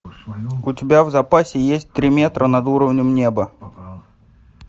у тебя в запасе есть три метра над уровнем неба